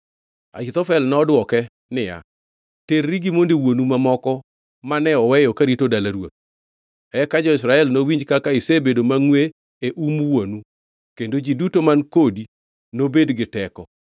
Ahithofel nodwoke niya, “Terri gi monde wuonu mamoko mane oweyo karito dala ruoth. Eka jo-Israel nowinj kaka isebedo mangʼwe e um wuonu, kendo ji duto man kodi nobed gi teko.”